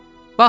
Baxın!